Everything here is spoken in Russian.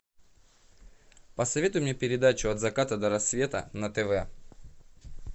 посоветуй мне передачу от заката до рассвета на тв